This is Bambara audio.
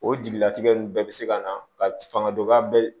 O jigilatigɛ nunnu bɛɛ bi se ka na ka fanga dɔgɔya